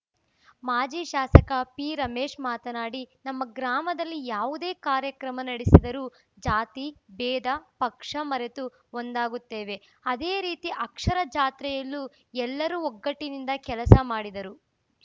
ಮಾಜಿ ಶಾಸಕ ಪಿರಮೇಶ್‌ ಮಾತನಾಡಿ ನಮ್ಮ ಗ್ರಾಮದಲ್ಲಿ ಯಾವುದೇ ಕಾರ್ಯಕ್ರಮ ನಡೆಸಿದರೂ ಜಾತಿ ಭೇದ ಪಕ್ಷ ಮರೆತು ಒಂದಾಗುತ್ತೇವೆ ಅದೇ ರೀತಿ ಅಕ್ಷರ ಜಾತ್ರೆಯಲ್ಲೂ ಎಲ್ಲರೂ ಒಗ್ಗಟ್ಟಿನಿಂದ ಕೆಲಸ ಮಾಡಿದರು